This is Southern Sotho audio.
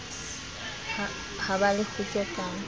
ha ba le kgutso ka